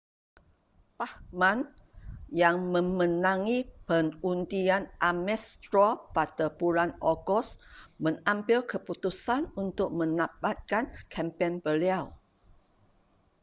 bachmann yang memenangi pengundian ames straw pada bulan ogos mengambil keputusan untuk menamatkan kempen beliau